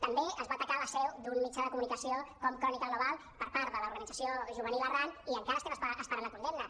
també es va atacar la seu d’un mitjà de comunicació com crónica global per part de l’organització juvenil arran i encara estem esperant la condemna